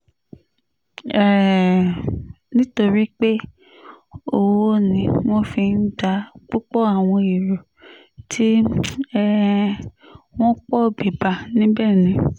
um nítorí pé owó ni wọ́n fi ń gba púpọ̀ àwọn èrò tí um wọ́n pọ̀ bíbá níbẹ̀ ni